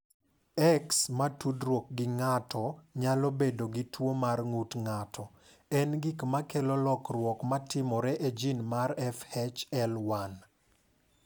"X ma tudruok gi ng’ato nyalo bedo gi tuwo mar ng’ut ng’ato, en gik ma kelo lokruok ma timore e jin mar FHL1."